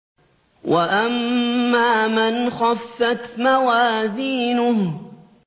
وَأَمَّا مَنْ خَفَّتْ مَوَازِينُهُ